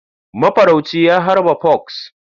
Mafarauci ya harba fox.